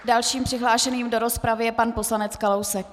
Dalším přihlášeným do rozpravy je pan poslanec Kalousek.